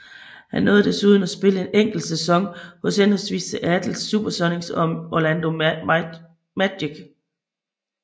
Han nåede desuden at spille en enkelt sæson hos henholdsvis Seattle SuperSonics og Orlando Magic